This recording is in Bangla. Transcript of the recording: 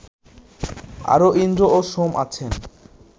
আরও ইন্দ্র ও সোম আছেন